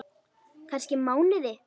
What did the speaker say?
Kannski mánuði!